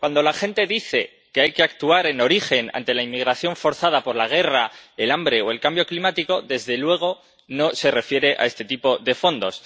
Cuando la gente dice que hay que actuar en origen ante la inmigración forzada por la guerra, el hambre o el cambio climático, desde luego no se refiere a este tipo de fondos.